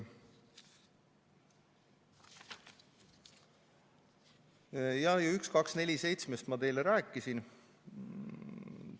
Numbrist 1247 ma teile rääkisin.